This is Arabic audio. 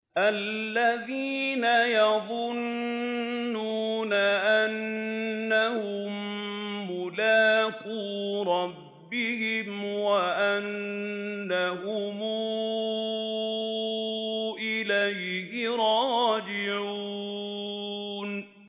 الَّذِينَ يَظُنُّونَ أَنَّهُم مُّلَاقُو رَبِّهِمْ وَأَنَّهُمْ إِلَيْهِ رَاجِعُونَ